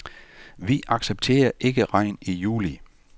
Vi accepterer ikke regn i juli.